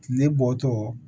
Tile bɔtɔ